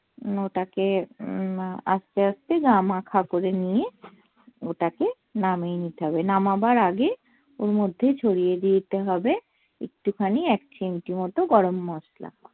ওটাকে উম আস্তে আস্তে গা মাখা করে নিয়ে ওটাকে নামিয়ে নিতে হবে নামাবার আগে ওর মধ্যে ছড়িয়ে দিতে হবে একটু খানি এক চিমটে মতো গরম মসলা